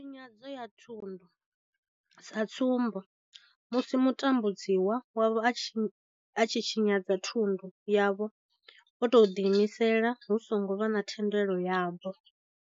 Tshinyadzo ya thundu sa tsumbo, musi mutambudzi wavho a tshi tshinyadza thundu yavho o tou ḓiimisela hu songo vha na thendelo yavho.